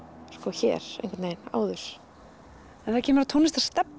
hér áður þegar kemur að tónlistarstefnu